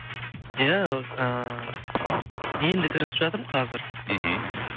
иә ыыы енді кірісіп жатырмын қазір мхм